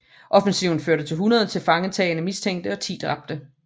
Offensiven førte til 100 tilfangetagne mistænkte og 10 dræbte